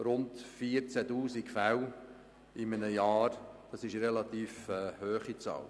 Rund 14 000 Fälle in einem Jahr ist eine relativ grosse Zahl.